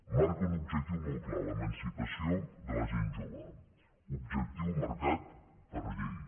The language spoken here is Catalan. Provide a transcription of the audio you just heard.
marca un objectiu molt clar l’emancipació de la gent jove objectiu marcat per llei